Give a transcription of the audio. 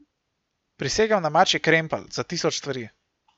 Prisegam na mačji krempelj za tisoč stvari.